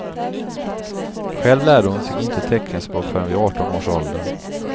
Själv lärde hon sig inte teckenspråk förrän vid arton års ålder.